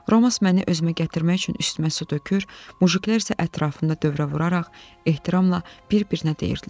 Romass məni özümə gətirmək üçün üstümə su tökür, mujiklər isə ətrafında dövrə vuraraq ehtiramla bir-birinə deyirdilər: